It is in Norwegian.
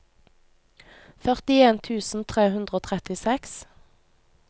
førtien tusen tre hundre og trettiseks